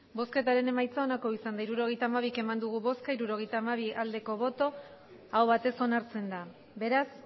hirurogeita hamabi eman dugu bozka hirurogeita hamabi bai aho batez onartzen da beraz